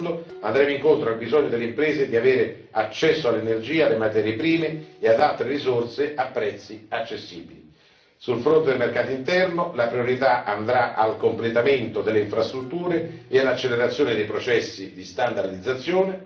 In secondo luogo, andremo incontro al bisogno delle imprese di avere accesso all'energia, alle materie prime e ad altre risorse a prezzi accessibili. Sul fronte del mercato interno, la priorità andrà al completamento delle infrastrutture e all'accelerazione dei processi di standardizzazione.